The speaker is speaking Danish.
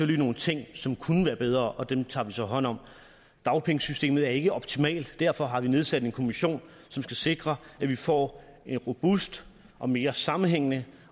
lige nogle ting som kunne være bedre og dem tager vi så hånd om dagpengesystemet er ikke optimalt og derfor har vi nedsat en kommission som skal sikre at vi får et robust og mere sammenhængende